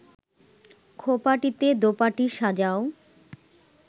খোঁপাটিতে দোপাটি সাজাও